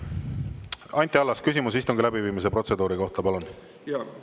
Anti Allas, küsimus istungi läbiviimise protseduuri kohta, palun!